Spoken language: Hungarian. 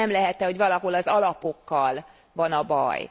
De nem lehet e, hogy valahol az alapokkal van a baj?